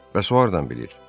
Bəs o hardan bilir?